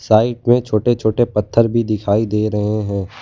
Side में छोटे छोटे पत्थर भी दिखाई दे रहे हैं।